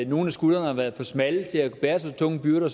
nogle af skuldrene har været for smalle til at bære så tunge byrder